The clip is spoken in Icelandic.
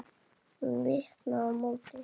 Hún vinkar á móti.